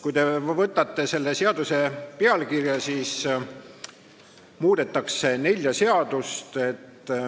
Kui te võtate ette selle seaduse pealkirja, siis näete, et muudetakse nelja seadust.